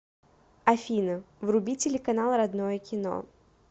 афина вруби телеканал родное кино